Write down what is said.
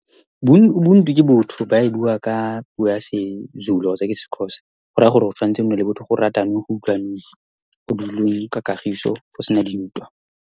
Ubuntu ke botho. Ba e bua ka puo ya isiZulu kgotsa ke isiXhosa, goraya gore go tshwanetse gonne le botho, go ratanwe, go utlwanwe, go dulwe ka kagiso, go sena dintwa.